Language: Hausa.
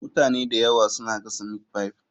Mutane da yawa suna gasa meatpie.